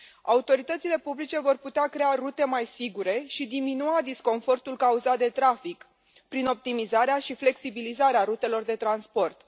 Autoritățile publice vor putea crea rute mai sigure și diminua disconfortul cauzat de trafic prin optimizarea și flexibilizarea rutelor de transport.